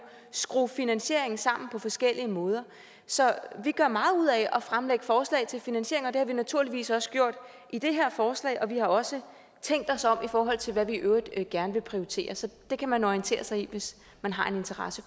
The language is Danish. skrue finansieringen sammen på forskellige måder så vi gør meget ud af at fremlægge forslag til finansiering og det har vi naturligvis også gjort i det her forslag og vi har også tænkt os om i forhold til hvad vi i øvrigt gerne vil prioritere så det kan man orientere sig i hvis man har en interesse